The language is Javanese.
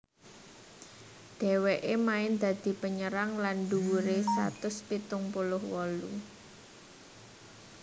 Dhèwèké main dadi penyerang lan dhuwuré satus pitung puluh wolu